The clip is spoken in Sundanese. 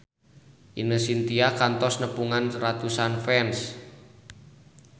Ine Shintya kantos nepungan ratusan fans